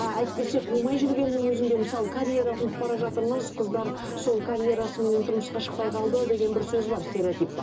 әйтпесе қумай жүргеннің өзінде мысалы карьера қуып бара жатырмыз қыздар сол карьерасыменен тұрмысқа шықпай қалды деген бір сөз бар стеоретип бар